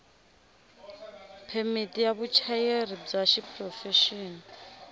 phemiti ya vuchayeri bya xiprofexini